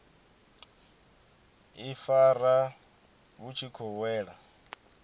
ifara vhu tshi khou wela